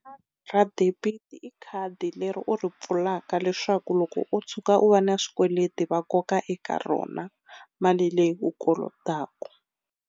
Ra debit i khadi leri u ri pfulaka leswaku loko u tshuka u va na swikweleti va koka eka rona mali leyi u kolotaku.